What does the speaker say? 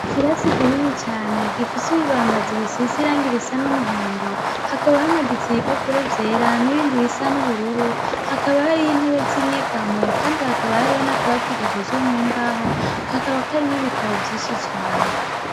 Ikirasi kinini cane gifise ibibambazi bisize irangi risa n'umuhondo, hakaba hamaditse ibipapuro vyera n'ibindi bisa n'ubururu ,hakaba hariho intebe z'inyegamo Kandi hakaba hariho n'akabati gakozwe mu mbaho kakaba karimwo ibitabo vyinshi cane .